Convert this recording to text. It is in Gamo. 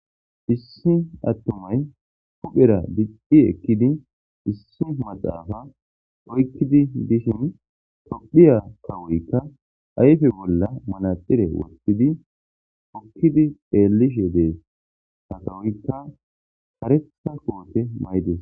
hissi attumay huphera diqdhi ekkidi dhissi maxaafa oykkidi dishin tophiya kawoykka ayfe bolla malaxire wotidi hokkidi ellishe dees ha kawoykka haretha koote maydes